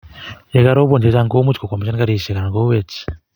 Ye karoban che chang komuch kokwamishan karishek anan kowech